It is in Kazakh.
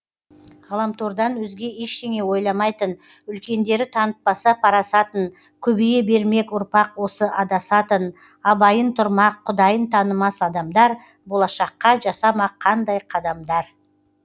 ғаламтордан өзге ештеңе ойламайтын үлкендері танытпаса парасатын көбейе бермек ұрпақ осы адасатын абайын тұрмақ құдайын танымас адамдар болашаққа жасамақ қандай қадамдар